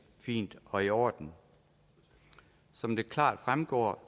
fint og i orden som det klart fremgår